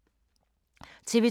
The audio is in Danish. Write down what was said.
TV 2